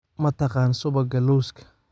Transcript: Ma taqaan subagga lawska?